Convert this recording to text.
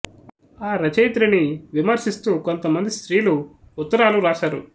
ఆ రచయిత్రిని విమర్శిస్తూ కొంత మంది స్త్రీలు ఉత్తరాలు వ్రాసారు